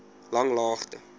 langlaagte